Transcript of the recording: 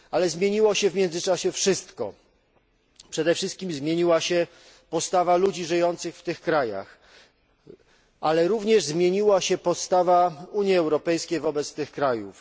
Zmieniło się w międzyczasie wszystko, przede wszystkim zmieniła się postawa ludzi żyjących w tych krajach, ale również zmieniła się postawa Unii Europejskiej wobec tych krajów.